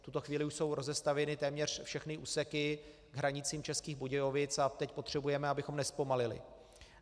V tuto chvíli už jsou rozestavěny téměř všechny úseky k hranicím Českých Budějovic a teď potřebujeme, abychom nezpomalili.